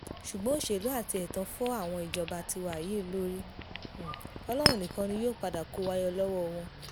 ṣùgbọ́n òṣèlú àti ẹ̀tàn fọ́ àwọn ìjọba tiwa yìí lórí ọlọ́run nìkan ni yóò padà kó wa yọ lọ́wọ́ wọn